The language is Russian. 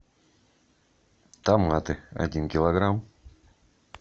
томаты один килограмм